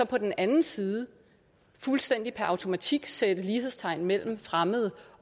på den anden side fuldstændig per automatik sætter lighedstegn mellem fremmede